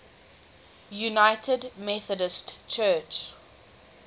united methodist church